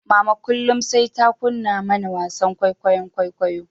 Mama kullum sai ta kunna mana wasan kwaikwayon kwaikwayo